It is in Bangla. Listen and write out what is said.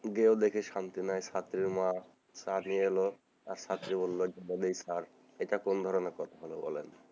গিয়েও দেখে শান্তি নাই ছাত্রীর মা চা নিয়ে এল আর ছাত্রী বললো এটা এইখানেই থাকে এটা কোন ধরনের কথা,